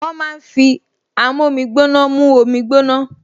Wọ́n máa ń fi amómígbóná mú omi gbóná